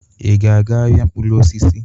Ị ga-aga ahịa mkpụrụ osisi?